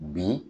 Bi